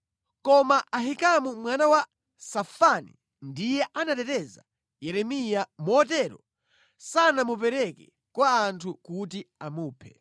Koma Ahikamu mwana wa Safani ndiye anateteza Yeremiya, motero sanamupereke kwa anthu kuti amuphe.